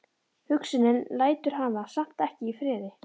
Hugsunin lætur hana samt ekki í friði.